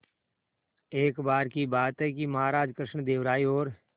एक बार की बात है कि महाराज कृष्णदेव राय और